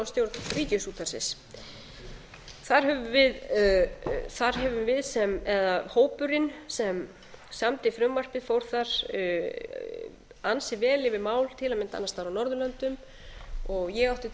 fyrirkomulag við val á stjórn ríkisútvarpsins þar höfum við eða hópurinn sem samdi frumvarpið fór þar ansi vel yfir mál til að mynda annars staðar á norðurlöndum ég átti til að